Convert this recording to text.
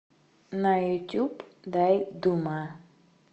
на ютуб дай дума